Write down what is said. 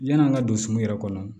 Yan'an ka don so yɛrɛ kɔnɔ